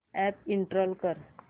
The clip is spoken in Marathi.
अॅप इंस्टॉल कर